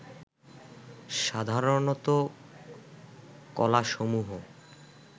সাধারণত কলাসমূহ